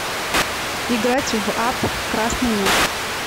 играть в апп красный мяч